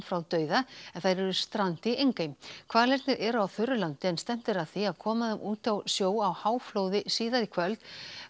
frá dauða en þær eru strand í Engey hvalirnir eru á þurru landi en stefnt er að því að koma þeim út í sjó á háflóði síðar í kvöld